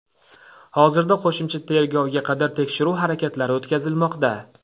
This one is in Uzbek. Hozirda qo‘shimcha tergovga qadar tekshiruv harakatlari o‘tkazilmoqda.